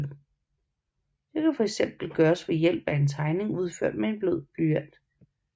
Det kan eksempelvis gøres ved hjælp af en tegning udført med blød blyant